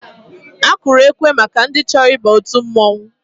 Akụrụ ekwe maka ndị chọrọ ịba òtù mmọnwụ.